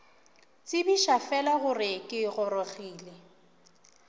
tsebiša fela gore ke gorogile